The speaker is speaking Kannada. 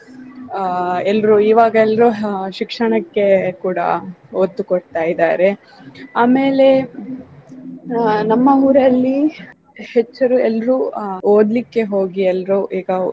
ಆ ಎಲ್ರೂ ಇವಾಗ ಎಲ್ರೂ ಹ್ಮ್ ಶಿಕ್ಷಣಕ್ಕೆ ಕೂಡಾ ಒತ್ತು ಕೊಡ್ತಾ ಇದ್ದಾರೆ ಆಮೇಲೆ ಅ ನಮ್ಮ ಊರಲ್ಲಿ ಹೆಚ್ಚು ಎಲ್ರೂ ಅ ಓದ್ಲಿಕ್ಕೆ ಹೋಗಿ ಎಲ್ರೂ ಈಗ